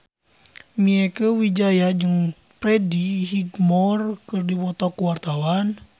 Mieke Wijaya jeung Freddie Highmore keur dipoto ku wartawan